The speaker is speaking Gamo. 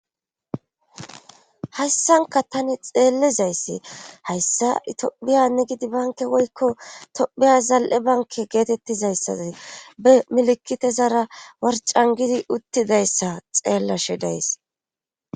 Hassanka tani xeellizayssi hayssa itophiyanni gidi banke woykko tophiya zal'e banke geetettizayssazi be milikite zaara warcan gidi uttidayssa xeellashe days.